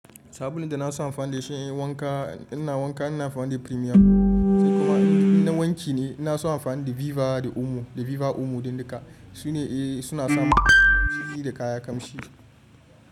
Sabulun da na so amfani da shi in yi wanka, ina wanka ina amfani da premium sai kuma ina wanki ne na so amfani da Viva da Omo, da Viva Omo dai duka. Su ne suna sa masu shiri da kaya kamshi.